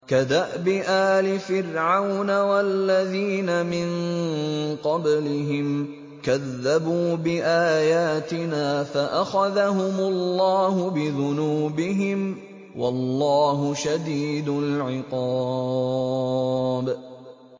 كَدَأْبِ آلِ فِرْعَوْنَ وَالَّذِينَ مِن قَبْلِهِمْ ۚ كَذَّبُوا بِآيَاتِنَا فَأَخَذَهُمُ اللَّهُ بِذُنُوبِهِمْ ۗ وَاللَّهُ شَدِيدُ الْعِقَابِ